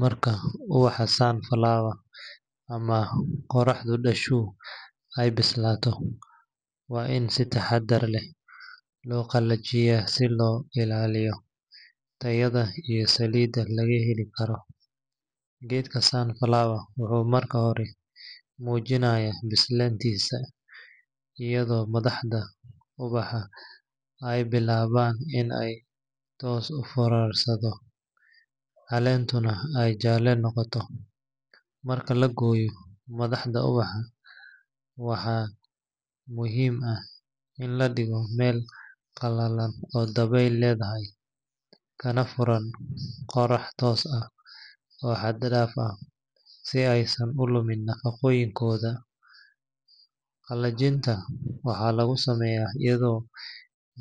Marka ubaxa sunflower ama qoraxdu dhashu ay bislaato, waa in si taxaddar leh loo qalajiyaa si loo ilaaliyo tayada iyo saliidda laga heli karo. Geedka sunflower wuxuu marka hore muujinayaa bislaantiisa iyadoo madaxda ubaxa ay bilaabaan in ay hoos u foorarsadaan, caleentuna ay jaalle noqoto. Marka la gooyo madaxda ubaxa, waxaa muhiim ah in la dhigaa meel qalalan oo dabeyl leedahay, kana furan qorax toos ah oo xad dhaaf ah, si aysan u lumin nafaqooyinkooda. Qalajinta waxaa lagu sameeyaa iyadoo